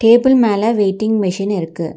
Table மேல weighting machine இருக்கு.